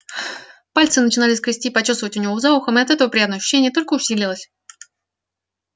пальцы начинали скрести и почёсывать у него за ухом и от этого приятное ощущение только усилилось